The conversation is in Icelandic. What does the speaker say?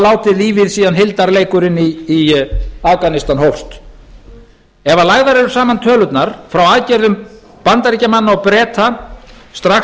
látið lífið síðan hildarleikurinn í afganistan hófst ef lagðar eru saman tölurnar frá aðgerðum bandaríkjamanna og breta strax